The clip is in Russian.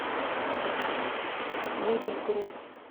мебель групп